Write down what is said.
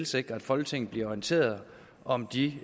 sikre at folketinget bliver orienteret om de